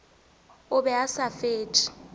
o be a sa fetše